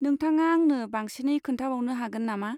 नोंथाङा आंनो बांसिनै खोन्थाबावनो हागोन नामा?